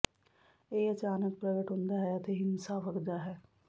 ਇਹ ਅਚਾਨਕ ਪ੍ਰਗਟ ਹੁੰਦਾ ਹੈ ਅਤੇ ਹਿੰਸਾ ਵਗਦਾ ਹੈ